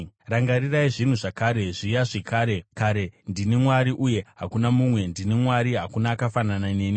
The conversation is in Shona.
Rangarirai zvinhu zvakare, zviya zvekare kare; ndini Mwari, uye hakuna mumwe; ndini Mwari, hakuna akafanana neni.